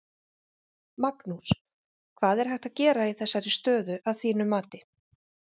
Magnús: Hvað er hægt að gera í þessari stöðu að þínu mati?